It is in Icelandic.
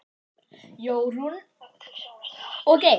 Jórunn og Geir.